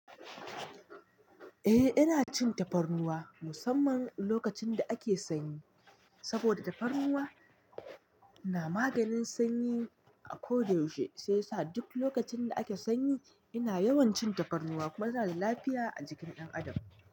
Eh ina cin tafarnuwa musamman lokacin da ake sanyi saboda tafarnuwa na maganin sanyi a ko da yaushe. Sai sa duk lokacin da ake sanyi ina yawan cin tafarnuwa kuma yana da lafiya a jikin ɗan adam.